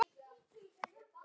Sindri Freyr.